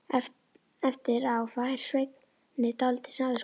Eftir á fær Svenni dálítið samviskubit.